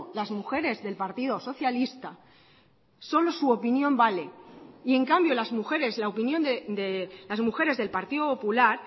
las mujeres del partido socialista solo su opinión vale y en cambio las mujeres la opinión de las mujeres del partido popular